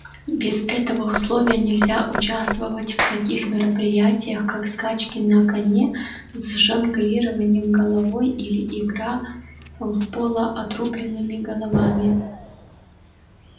без этого условия нельзя участвовать в таких мероприятиях как скачки на коне с жонглированием головой или игра в поло отрубленными головами